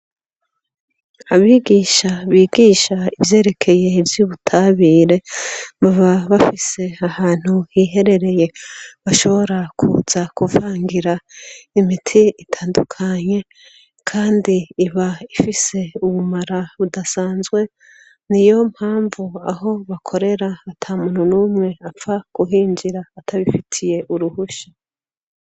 Abigisha, bigisha ivyerekeye ivy'ubutabire baba bafise ahantu hiherereye, bashobora kuza kuvangira imiti itandukanye, kandi iba ifise ubumara budasanzwe, ni yo mpamvu aho bakorera atamuntu numwe, apfa guhinjira atabifitiye uruhusha.